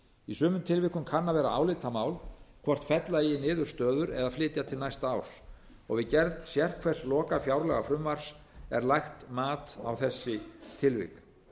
í sumum tilvikum kann að vera álitamál hvort fella eigi niður stöður eða flytja til næsta árs og við gerð sérhvers lokafjárlagafrumvarps er lagt mat á þessi tilvik